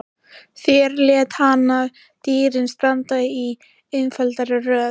Þar lét hann dýrin standa í einfaldri röð.